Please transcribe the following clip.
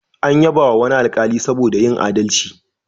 An yabawa wani alkali saboda yin aldalci.